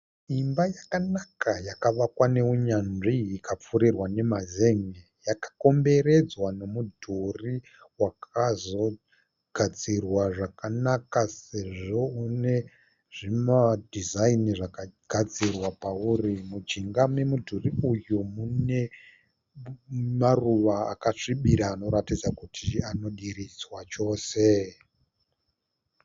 Imba yakanaka yakavakwa nounyanzwi ikapfurirwa nemazen'e. Yakakomberedzwa nomudhuri wakazogadzirwa zvakanaka sezvo une zvimadhizaini zvakagadzirwa pawuri. Mujinga memudhuri uyu mune maruva akasvibira anoratidza kuti ari kudiridzwa chose.